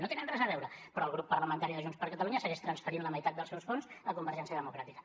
no tenen res a veure però el grup parlamentari de junts per catalunya segueix transferint la meitat dels seus fons a convergència democràtica